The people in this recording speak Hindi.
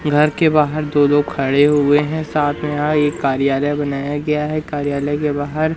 घर के बाहर दो लोग खड़े हुए हैं साथ में यहां एक कार्यालय बनाया गया है कार्यालय के बाहर--